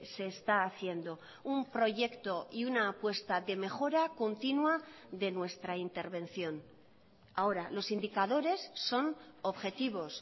se está haciendo un proyecto y una apuesta de mejora continua de nuestra intervención ahora los indicadores son objetivos